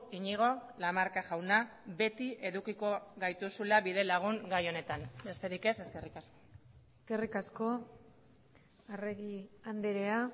iñigo lamarca jauna beti edukiko gaituzula bidelagun gai honetan besterik ez eskerrik asko eskerrik asko arregi andrea